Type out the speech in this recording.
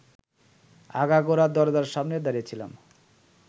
আগাগোড়া দরজার সামনে দাড়িয়েছিলাম